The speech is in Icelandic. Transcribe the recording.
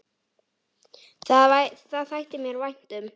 Það þætti mér vænt um